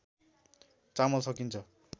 चामल सकिन्छ